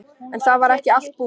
En það var ekki allt búið.